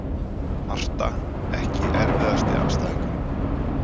Marta Ekki erfiðasti andstæðingur?